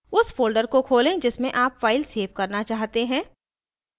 उस folder को खोलें जिसमें आप file सेव करना चाहते हैं